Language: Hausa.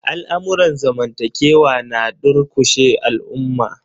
Al'amurran zamantakewa na durƙushe al'umma.